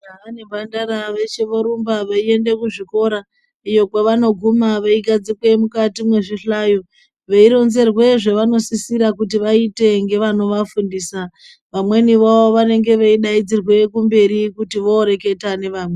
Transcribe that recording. Majaya nemhandara veshe vorumba vei ende kuzvikora iyo kwavanoguma vei gadzikwe mukati mezvi hlayo veironzerwe zvavanosisira kuti vaite nevano vafundisa vamweni vavo vanenge veidaidzirwe kumberi kuti voreketa nevamweni.